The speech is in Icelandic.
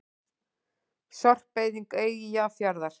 Sorpeyðing Eyjafjarðar.